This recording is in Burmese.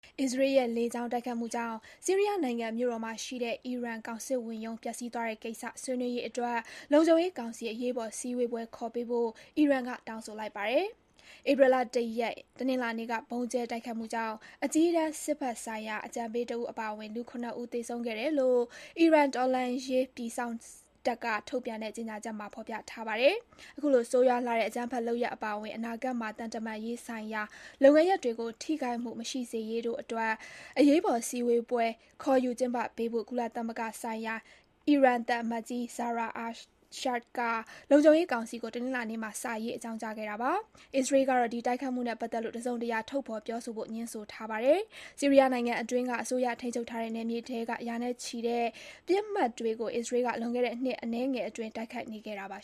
အစ္စရေးရဲ့ လေကြောင်းတိုက်ခိုက်မှုကြောင့် ဆီးရီးယားနိုင်ငံမြို့တော်မှာရှိတဲ့ အီရန် ကောင်စစ်ဝန်ရုံး ပျက်ဆီးသွားတဲ့ကိစ္စ ဆွေးနွေးဖို့လုံခြုံရေးကောင်စီ အရေးပေါ်အစည်းအဝေးခေါ်ပေးဖို့ အီရန်က တောင်းဆိုလိုက်ပါတယ်။ ဧပြီလ ၁ ရက်၊ တနင်္လာနေ့က ဗုံးကြဲတိုက်ခိုက်မှုကြောင့် အကြီးတန်း စစ်ဘက်ဆိုင်ရာ အကြံပေးတဦး အပါအဝင် လူ ၇ ဦး သေဆုံးခဲ့တယ်လို့ အီရန် တော်လှန်ရေးပြည်စောင့်တပ်က ထုတ်ပြန်တဲ့ ကြေညာချက်မှာ ဖော်ပြပါတယ်။ အခုလို ဆိုးရွားတဲ့ အကြမ်းဖက်လုပ်ရပ်အပါအဝင် အနာဂတ်မှာ သံတမန်ရေးဆိုင်ရာ လုပ်ငန်းရပ်တွေကို ထိခိုက်မှု မရှိစေရေး အရေးပေါ်စည်းဝေးပွဲ ခေါ်ယူ ကျင်းပဖို့ ကုလသမဂ္ဂဆိုင်ရာ အီရန်သံအမတ်ကြီး Zahra Ershad က လုံခြုံရေးကောင်စီကို တနင်္လာနေ့မှာ စာရေး အကြောင်းကြားခဲ့တာပါ။ အစ္စရေးကတော့ ဒီတိုက်ခိုက်မှုနဲ့ပတ်မှုနဲ့ပတ်သက်လို့ တစုံတရာ ထုတ်ဖော် ပြောဆိုဖို့ ငြင်းဆိုထားပါတယ်။ ဆီးရီးယားနိုင်ငံအတွင်းအစိုးရထိန်းချုပ်ထားတဲ့ နယ်မြေထဲက ရာနဲ့ချီတဲ့ ပစ်မှတ်တွေကို အစ္စရေးက လွန်ခဲ့တဲ့ နှစ်အနည်းငယ်အတွင်း တိုက်ခိုက်နေခဲ့တာပါ